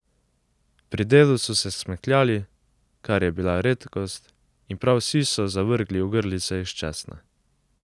Pri delu so se smehljali, kar je bila redkost, in prav vsi so zavrgli ogrlice iz česna.